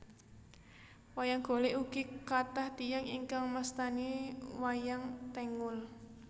Wayang Golèk ugi kathah tiyang ingkang mastani wayang tengul